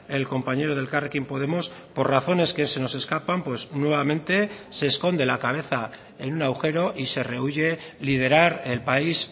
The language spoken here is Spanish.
el compañero de elkarrekin podemos por razones que se nos escapan pues nuevamente se esconde la cabeza en un agujero y se rehúye liderar el país